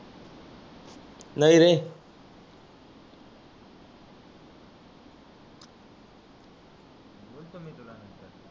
नाही रे